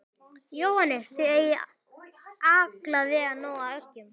Jóhannes: Þið eigið alveg nóg af eggjum?